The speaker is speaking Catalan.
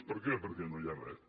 per què perquè no hi ha res